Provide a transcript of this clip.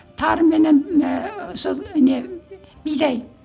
тарыменен ыыы сол не бидай